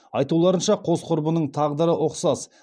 айтуларынша қос құрбының тағдыры ұқсас